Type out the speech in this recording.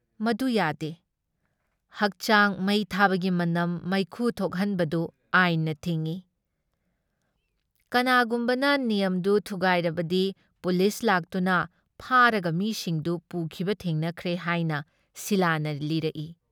ꯃꯗꯨ ꯌꯥꯗꯦ ꯫ ꯍꯛꯆꯥꯡ ꯃꯩ ꯊꯥꯕꯒꯤ ꯃꯅꯝ ꯃꯩꯈꯨ ꯊꯣꯛꯍꯟꯕꯗꯨ ꯑꯥꯏꯟꯅ ꯊꯤꯡꯏ ꯫ ꯀꯅꯥꯒꯨꯝꯕꯅ ꯅꯤꯌꯝꯗꯨ ꯊꯨꯒꯥꯏꯔꯕꯗꯤ ꯄꯨꯂꯤꯁ ꯂꯥꯛꯇꯨꯅ ꯐꯥꯔꯒ ꯃꯤꯁꯤꯡꯗꯨ ꯄꯨꯈꯤꯕ ꯊꯦꯡꯅꯈ꯭ꯔꯦ ꯍꯥꯏꯅ ꯁꯤꯂꯥꯅ ꯂꯤꯔꯛꯏ ꯫